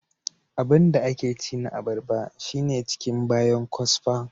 Abinda ake ci na abarba shine ciki bayan kwasfa.